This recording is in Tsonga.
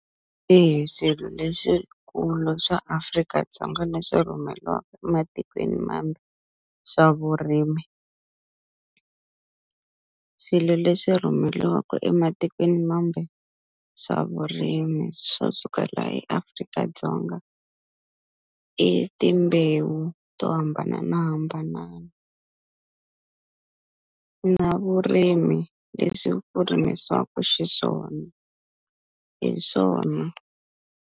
swihi swilo leswikulu swa Afrika-Dzonga leswi rhumeriwaka ematikweni mambe swa vurimi swilo leswi rhumeriwaku ematikweni mambe swa vurimi swa suka laha eAfrika-Dzonga i timbewu to hambananahambanana na vurimi leswi ku rimisiwaku xiswona hi swona.